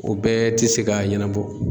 O bɛɛ te se k'a ɲɛnɛbɔ